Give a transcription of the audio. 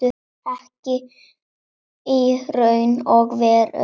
Ekki í raun og veru.